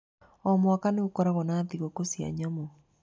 O mwaka, nĩ gũkoragwo na thigũkũ cia nyamũ.